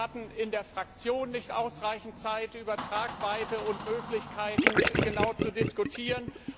Wir hatten in der Fraktion nicht ausreichend Zeit, über Tragweite und Möglichkeiten genau zu diskutieren.